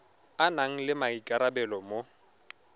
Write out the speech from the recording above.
a nang le maikarabelo mo